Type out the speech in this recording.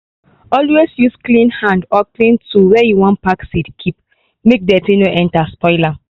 always use clean hand or clean tool when you wan pack seeds keep make dirt no enter spoil am.